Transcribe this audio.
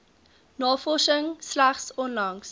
navorsing slegs onlangs